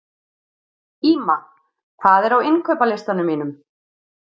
Ýma, hvað er á innkaupalistanum mínum?